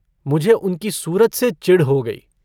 मुझे उनको सूरत से चिढ़ हो गई।